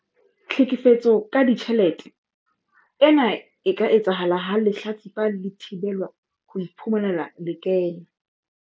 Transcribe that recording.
Tlhekefetso ka ditjhelete- Ena e ka etsahala ha lehlatsipa le thibelwa ho iphumanela lekeno.